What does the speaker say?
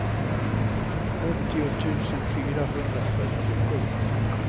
åttio tusen fyrahundrafyrtiosju